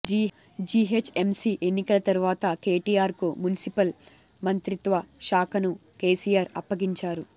GHMC ఎన్నికల తర్వాత కేటీఆర్కు మున్సిఫల్ మంత్రిత్వశాఖను కేసీఆర్ అప్పగించారు